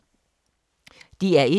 DR1